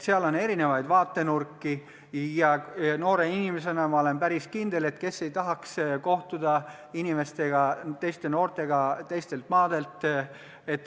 Seal on erinevaid vaatenurki ja ma olen päris kindel, et kes ei tahaks noore inimesena kohtuda teiste noortega teistelt maadelt.